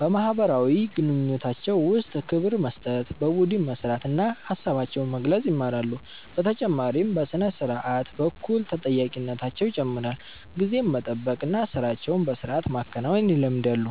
በማህበራዊ ግንኙነታቸው ውስጥ ክብር መስጠት፣ በቡድን መስራት እና ሀሳባቸውን መግለጽ ይማራሉ። በተጨማሪም በሥነ-ስርዓት በኩል ተጠያቂነታቸው ይጨምራል፣ ጊዜን መጠበቅ እና ሥራቸውን በሥርዓት ማከናወን ይለምዳሉ።